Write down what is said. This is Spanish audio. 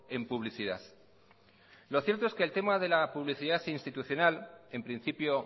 en publicidad lo cierto es que el tema de la publicidad institucional en principio